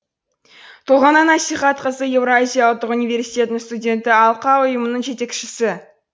толғанай насихатқызы еуразия ұлттық университетінің студенті алқа ұйымының жетекшісі